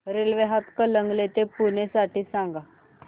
railway Hatkanangale ते पुणे साठी सांगा